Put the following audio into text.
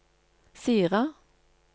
Sira